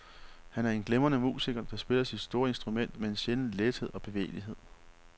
Han er en glimrende musiker, der spiller sit store instrument med en sjælden lethed og bevægelighed.